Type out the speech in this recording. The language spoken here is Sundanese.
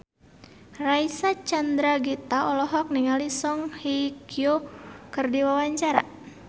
Reysa Chandragitta olohok ningali Song Hye Kyo keur diwawancara